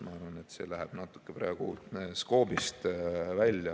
Ma arvan, et see läheb praegu natuke skoobist välja.